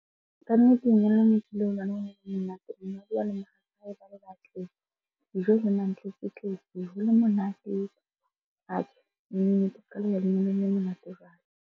Kannete lenyalo le ne ke ile ho lona monate. Dijo e le mantletsetletse ho le monate. Atjhe, ya lenyalong le monate jwalo.